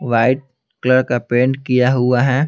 White colour का paint किया हुआ है।